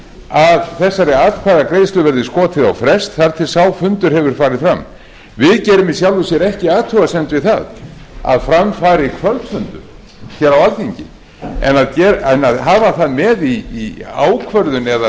að þessari atkvæðagreiðslu verði skotið á frest þar til sá fundur hefur farið við gerum í sjálfu sér ekki athugasemd við það að fram kvöldfundur en að hafa það með í ákvörðun eða